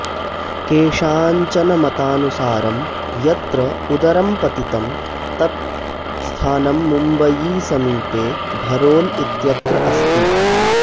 केषाञ्चन मतानुसारं यत्र उदरं पतितं तत् स्थानं मुम्बयीसमीपे भरोल् इत्यत्र अस्ति